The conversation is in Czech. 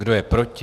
Kdo je proti?